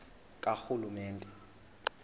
karhulumente